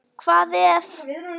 Hvað ef.?